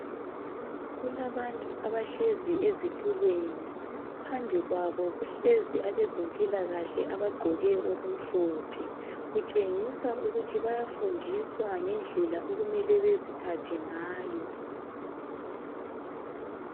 Kulabantu abahlezi ezitulweni, phambi kwabo kuhlezi abezempilakahle abagqoke okumhlophe, kutshengisa ukuthi bayafundiswa ngendlela okumele baziphathe ngayo.